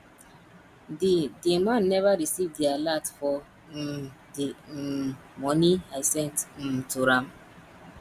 the the man never receive the alert for um the um money i sent um to am